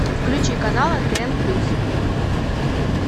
включи канал нтн плюс